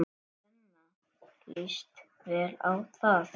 Svenna líst vel á það.